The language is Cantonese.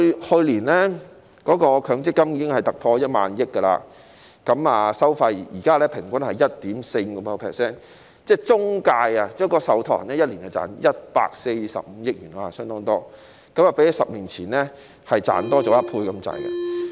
去年，強積金總資產已突破1萬億元，現在的收費平均是 1.45%， 即中介、受託人每年賺取145億元，相當多，較10年前所賺取的增加接近1倍。